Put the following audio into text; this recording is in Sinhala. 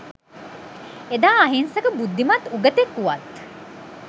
එදා අහිංසක බුද්ධිමත් උගතෙක් වුවත්